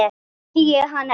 Nú þekki ég ekki hann